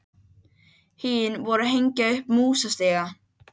Hin voru að hengja upp músastiga.